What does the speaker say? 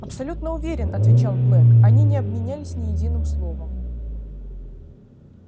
абсолютно уверен отвечал блэк они не обменялись ни единым словом